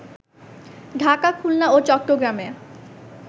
ঢাকা, খুলনা ও চট্টগ্রামে